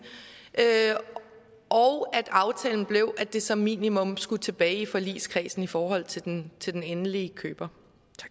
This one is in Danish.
og at aftalen blev at det som minimum skulle tilbage i forligskredsen i forhold til den til den endelige køber